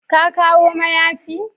Ka kawo mayafi?